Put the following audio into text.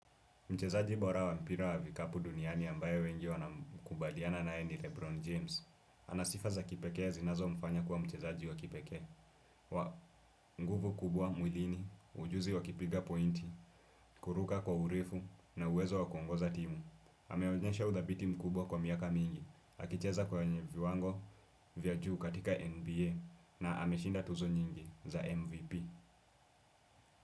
Mchezaji bora wa mpira wa vikapu duniani ambaye wengi wanakubaliana nae ni Lebron James. Ana sifa za kipekee zinazo mfanya kuwa mchezaji wa kipekee. Wa nguvu kubwa, mwilini, ujuzi wa kipiga pointi, kuruka kwa urefu na uwezo wa kuongoza timu. Ameonyesha udhabiti mkubwa kwa miaka mingi. Akicheza kwa viwango vya juu katika NBA na ameshinda tuzo nyingi za MVP.